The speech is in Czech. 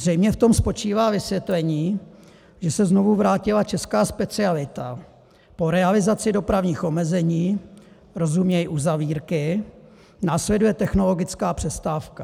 Zřejmě v tom spočívá vysvětlení, že se znovu vrátila česká specialita - po realizaci dopravních omezení, rozuměj uzavírky, následuje technologická přestávka.